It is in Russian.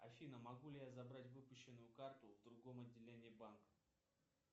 афина могу ли я забрать выпущенную карту в другом отделении банка